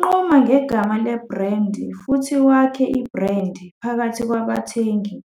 Nquma ngegama lebhrendi futhi wakhe ibhrendi phakathi kwabathengi